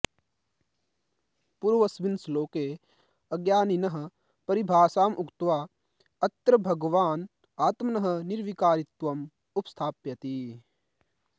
पूर्वस्मिन् श्लोके अज्ञानिनः परिभाषाम् उक्त्वा अत्र भगवान् आत्मनः निर्विकारित्वम् उपस्थापयति